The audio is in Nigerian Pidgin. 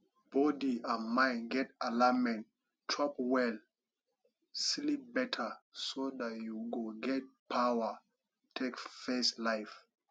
body and mind get alignment chop well sleep better so dat you go get power take face life